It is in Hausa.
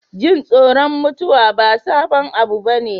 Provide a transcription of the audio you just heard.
Jin tsoron mutuwa ba sabon abu bane.